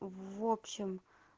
в общем